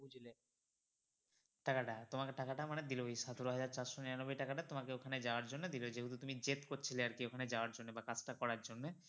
টাকা টা তোমাকে টাকা টা মানে দিলো ওই সতেরো হাজার চারশো নিরানব্বই টাকা টা তোমাকে ওখানে যাওয়ার জন্য দিলো যেহেতু তুমি জেদ করছিলে আর কি ওখানে যাওয়ার জন্যে বা কাজ টা করার জন্যে